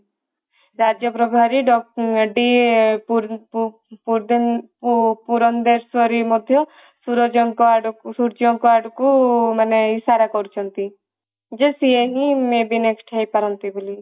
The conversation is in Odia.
ରାଜ୍ୟ ପ୍ରଭାରି ପୁରେନ୍ଦ୍ରଶ୍ଵରୀ ମଧ୍ୟ ସୁରଜ ଙ୍କ ଆଡକୁ ସୂର୍ଯ୍ୟ ଙ୍କ ଆଡକୁ ମାନେ ଇସାରା କରୁଛନ୍ତି ଯେ ସିଏ ବି may be next ହେଇପାରନ୍ତି ବୋଲି